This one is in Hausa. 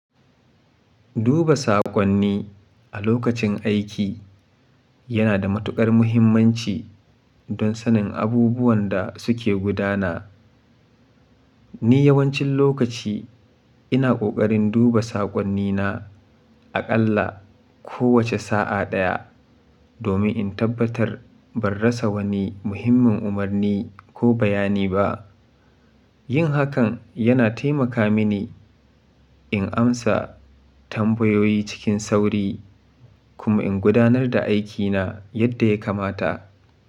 Duba saƙonni a lokacin aiki yana da matuƙar muhimmanci don sanin abubuwan da suke gudana. Ni yawancin lokaci ina ƙoƙarin duba saƙonnina aƙalla kowace sa'a ɗaya domin in tabbatar ban rasa wani muhimmin umarni ko bayani ba. Yin hakan yana taimaka mini in amsa tambayoyi cikin sauri kuma in gudanar da aikina yadda ya kamata.